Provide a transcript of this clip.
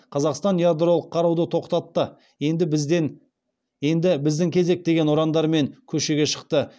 қазақстан ядролық қаруды тоқтатты енді біздің кезек деген ұрандармен көшеге шықты